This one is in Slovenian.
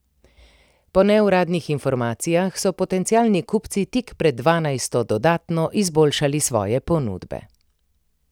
Po neuradnih informacijah so potencialni kupci tik pred dvanajsto dodatno izboljšali svoje ponudbe.